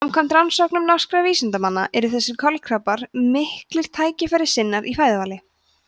samkvæmt rannsóknum norskra vísindamanna eru þessir kolkrabbar miklir tækifærissinnar í fæðuvali